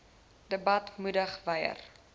debat moedig wyer